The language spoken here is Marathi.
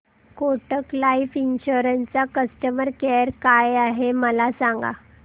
कोटक लाईफ इन्शुरंस चा कस्टमर केअर काय आहे मला सांगा